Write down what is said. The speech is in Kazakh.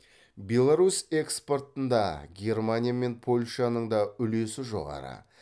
беларусь экспортында германия мен польшаның да үлесі жоғары